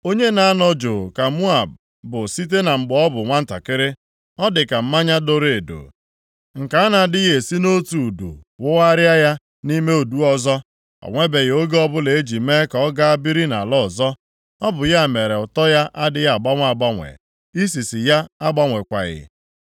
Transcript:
“Onye na-anọ juu ka Moab bụ site na mgbe ọ bụ nwantakịrị, ọ dịka mmanya doro edo, nke a na-adịghị esi nʼotu udu wụgharịa ya nʼime udu ọzọ, o nwebeghị oge ọbụla e ji mee ka ọ ga biri nʼala ọzọ. Ọ bụ ya mere ụtọ ya adịghị agbanwe agbanwe, isisi ya agbanwekwaghị.